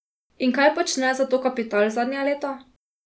In kaj počne zato kapital zadnja leta?